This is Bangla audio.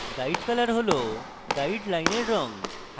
guide color হল গাইডলাইনের রঙ